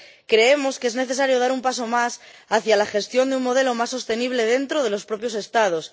Creemos que es necesario dar un paso más hacia la gestión de un modelo más sostenible dentro de los propios Estados.